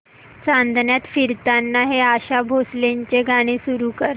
चांदण्यात फिरताना हे आशा भोसलेंचे गाणे सुरू कर